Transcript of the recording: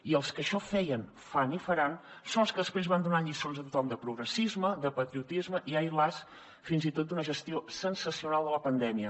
i els que això feien fan i faran són els que després van donant lliçons a tothom de progressisme de patriotisme i ai las fins i tot d’una gestió sensacional de la pandèmia